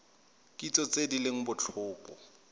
kitso tse di leng botlhokwa